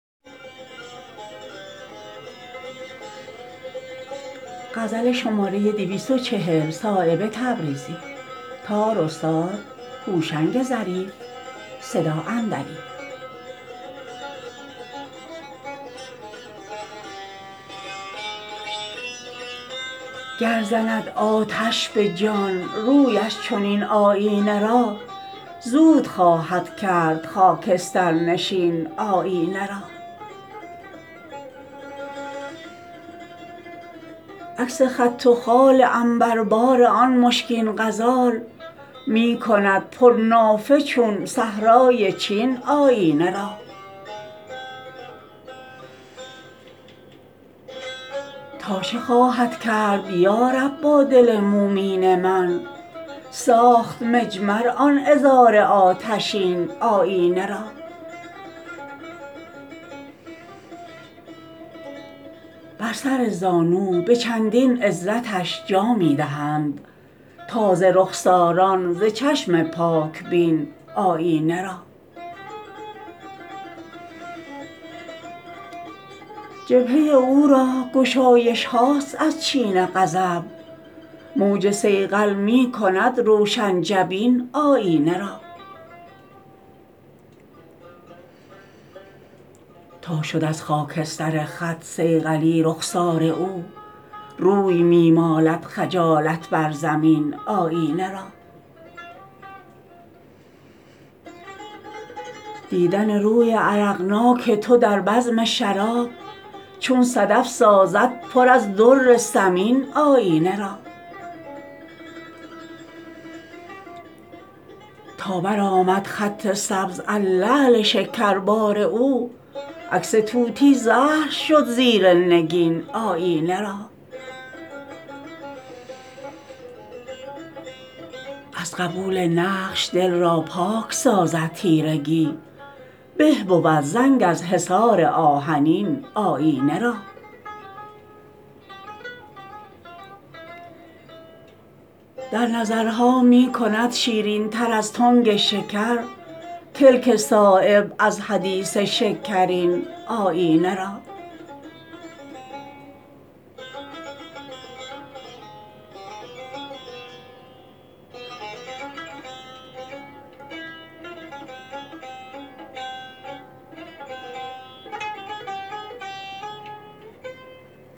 گر زند آتش به جان رویش چنین آیینه را زود خواهد کرد خاکسترنشین آیینه را عکس خط و خال عنبربار آن مشکین غزال می کند پرنافه چون صحرای چین آیینه را تا چه خواهد کرد یارب با دل مومین من ساخت مجمر آن عذار آتشین آیینه را بر سر زانو به چندین عزتش جا می دهند تازه رخساران ز چشم پاک بین آیینه را جبهه او را گشایش هاست از چین غضب موج صیقل می کند روشن جبین آیینه را تا شد از خاکستر خط صیقلی رخسار او روی می مالد خجالت بر زمین آیینه را دیدن روی عرقناک تو در بزم شراب چون صدف سازد پر از در ثمین آیینه را تا برآمد خط سبز از لعل شکربار او عکس طوطی زهر شد زیر نگین آیینه را از قبول نقش دل را پاک سازد تیرگی به بود زنگ از حصار آهنین آیینه را در نظرها می کند شیرین تر از تنگ شکر کلک صایب از حدیث شکرین آیینه را